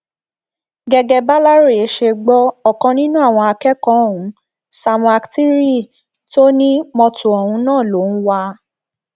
gẹgẹ bàlàròyé ṣe gbọ ọkan nínú àwọn akẹkọọ ohùn samuel aktiriyi tó ní mọtò ọhún náà ló ń wá a